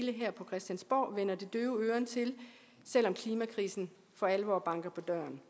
her på christiansborg vender det døve øre til selv om klimakrisen for alvor banker på døren